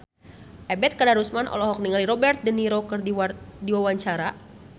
Ebet Kadarusman olohok ningali Robert de Niro keur diwawancara